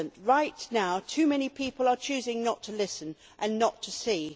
Right now too many people are choosing not to listen and not to see.